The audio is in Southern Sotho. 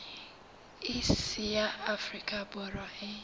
iss ya afrika borwa e